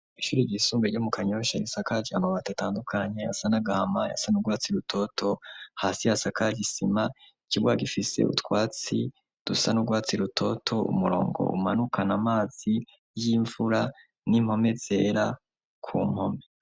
Ishuri ryisumbuye ryo mu kanyosha risakaje gihamaba datandukanye yasanagahama yasan urwatsi rutoto hasi yasaka gisima ikibwa gifise btwatsi dusanurwatsi rutoto umurongo umanukana amazi y'imvura nimpome zera ku mpome.